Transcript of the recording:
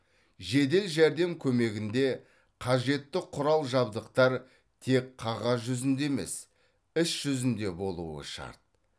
жедел жәрдем көмегінде қажетті құрал жабдықтар тек қағаз жүзінде емес іс жүзінде болуы шарт